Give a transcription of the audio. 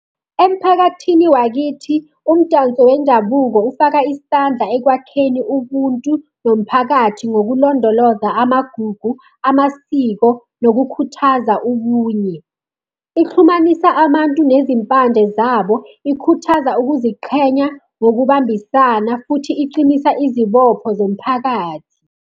Emphakathini wakithi, umdanso wendabuko ufaka isandla ekwakheni ubuntu nomphakathi ngokulondoloza amagugu, amasiko, nokukhuthaza ubunye. Ixhumanisa abantu nezimpande zabo, ikhuthaza ukuziqhenya ngokubambisana, futhi iqinisa izibopho zomphakathi.